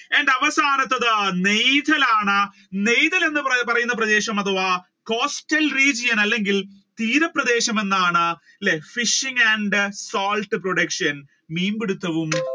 എന്റെ അവസാനത്തത് നെയ്തലാണ് നെയ്തൽ എന്ന് പറയുന്ന പ്രദേശം അധവാ coastal region അല്ലെങ്കിൽ തീരപ്രദേശം എന്നാണ്. അല്ലെ fishing and salt production മീൻപിടിത്തവും